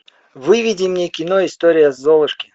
выведи мне кино история золушки